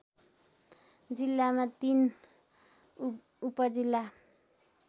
जिल्लामा तीन उपजिल्ला